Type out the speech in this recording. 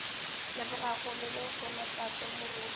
lebogago le lehono tate moruti